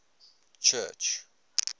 church